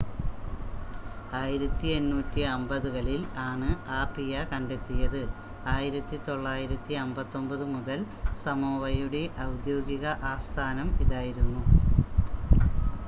1850 കളിൽ ആണ് ആപിയ കണ്ടെത്തിയത് 1959 മുതൽ സമോവയുടെ ഔദ്യോഗിക ആസ്ഥാനം ഇതായിരുന്നു